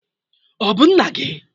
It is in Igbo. Ọ bụ nna gị?